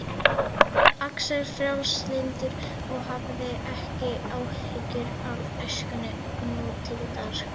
Axel frjálslyndur og hafði ekki áhyggjur af æskunni nútildags